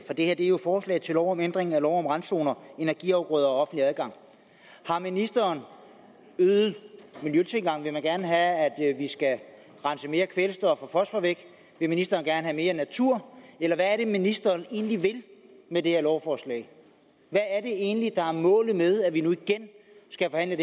er jo et forslag til lov om ændring af lov om randzoner energiafgrøder og offentlig adgang har ministeren øget miljøtilgangen vil man gerne have at at vi skal rense mere kvælstof og fosfor væk vil ministeren gerne have mere natur eller hvad er det ministeren egentlig vil med det her lovforslag hvad er det egentlig der er målet med at vi nu igen skal forhandle